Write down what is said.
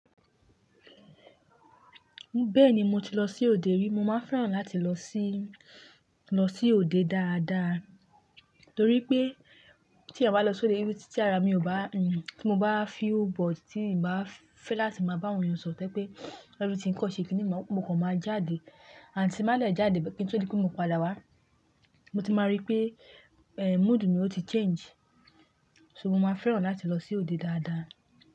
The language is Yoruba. Bẹ́ẹ̀ni mo ti lọ sí òde rí, mo máa fẹ́ràn láti lọ sí, lọ sí òde dáadáa, torí pé tí ẹ̀yán bá lọ sí òde rí tí ará mi ò bá, tí mo bá feel bored, tí n bá fẹ́ láti máa bá awon èyán sọ̀ro to jé pé everything kọ́ ṣe kíni mo kàn máa jáde, àti tí má lè jáde kí n tó rí pé mo padà wá, mo ti máa rí pé mood mi ò ti change. So mo máa fẹ́ràn láti lọ sí òde dáadáa.